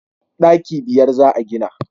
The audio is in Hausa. daki biyar za a gina